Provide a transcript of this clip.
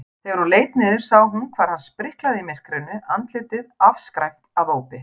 Þegar hún leit niður sá hún hvar hann spriklaði í myrkrinu, andlitið afskræmt af ópi.